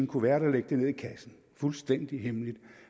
kuvert og lægge den ned i kassen fuldstændig hemmeligt